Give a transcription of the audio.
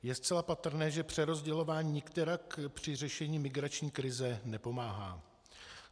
Je zcela patrné, že přerozdělování nikterak při řešení migrační krize nepomáhá.